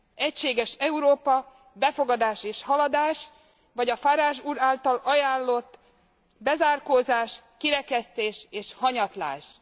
Egységes Európa, befogadás és haladás, vagy a Farage úr által ajánlott bezárkózás, kirekesztés és hanyatlás.